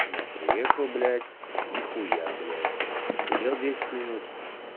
я приехал блять нехуя блять посидел десятьминут